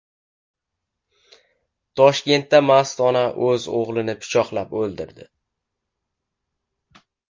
Toshkentda mast ona o‘z o‘g‘lini pichoqlab o‘ldirdi.